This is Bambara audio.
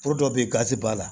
Foro dɔ bɛ ye gazi b'a la